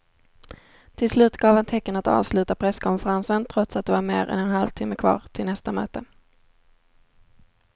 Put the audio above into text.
Till slut gav han tecken att avsluta presskonferensen trots att det var mer än en halvtimme kvar till nästa möte.